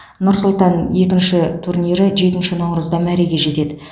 нұр сұлтан екінші турнирі жетінші наурызда мәреге жетеді